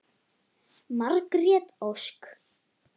Margrét Ósk.